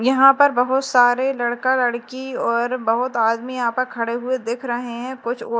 यहां पर बहुत सारे लड़का लड़की और बहुत आदमी यहां पर खड़े हुए दिख रहे हैं कुछ और--